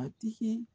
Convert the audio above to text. A tigi